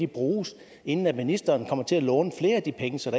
bruges inden ministeren kommer til at låne flere af de penge så